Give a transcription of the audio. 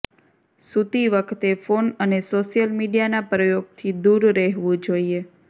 સૂતી વખતે ફોન અને સોશિયલ મીડિયાના પ્રયોગથી દૂર રહેવું જોઇએ